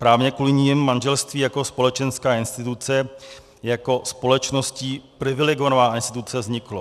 Právě kvůli nim manželství jako společenská instituce, jako společností privilegovaná instituce, vzniklo.